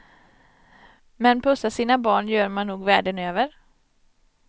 Men pussar sina barn gör man nog världen över.